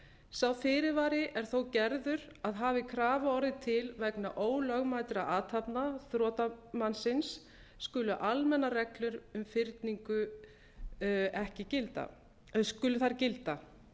sá fyrirvari er þó gerður að hafi krafa orðið til vegna ólögmætra athafna þrotamannsins skulu almennar reglur um fyrningu gilda